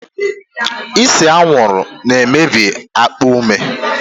Ise anwụrụ na-emebi akpa ume.